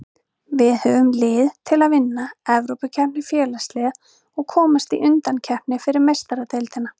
Við höfum lið til að vinna Evrópukeppni Félagsliða og komast í undankeppni fyrir Meistaradeildina.